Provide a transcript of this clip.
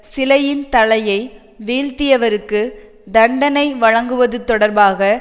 சிலையின் தலையை வீழ்த்தியவருக்குத் தண்டனை வழங்குவது தொடர்பாக